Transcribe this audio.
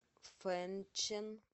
фэнчэн